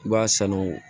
I b'a sanu